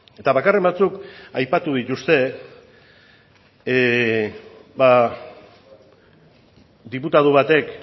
eta bakarren batzuk aipatu dituzte diputatu batek